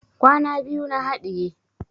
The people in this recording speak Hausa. Kwaya biyu na haɗiye